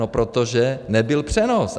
No protože nebyl přenos.